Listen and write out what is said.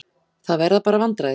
Það verða bara vandræði.